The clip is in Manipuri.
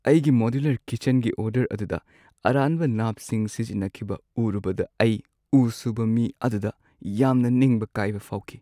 ꯑꯩꯒꯤ ꯃꯣꯗꯨꯂꯔ ꯀꯤꯠꯆꯟꯒꯤ ꯑꯣꯔꯗꯔ ꯑꯗꯨꯗ ꯑꯔꯥꯟꯕ ꯅꯥꯞꯁꯤꯡ ꯁꯤꯖꯤꯟꯅꯈꯤꯕ ꯎꯔꯨꯕꯗ ꯑꯩ ꯎ ꯁꯨꯕ ꯃꯤ ꯑꯗꯨꯗ ꯌꯥꯝꯅ ꯅꯤꯡꯕ ꯀꯥꯏꯕ ꯐꯥꯎꯈꯤ꯫